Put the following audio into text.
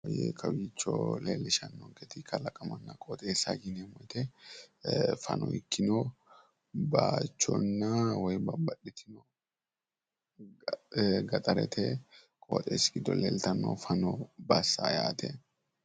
ee kawicho leellishshannonkete kalaqamanna qooxeessa yineemmo wote fano ikkino bayichonna woy babbaxitino gaxarete qooxeessi giddo leeltanno fano bassa yaate.